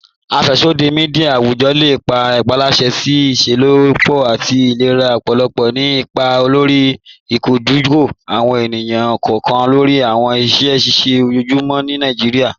Afẹ́ṣọdí míḍíà awùjọ́ le jẹ́ ìpálàrà sí ìṣẹ́lọ́pọ̀ àti ìlẹ̀rà ọ̀pọ̀lọ̀, ní ìpà lórí ìdòjúkọ̀ àwọn ènìyàn kọọkan lórí àwọn ìṣẹ̀ ṣíṣẹ̀ ọjọ́ọ̀jùmọ́ ní Nàìjíríà.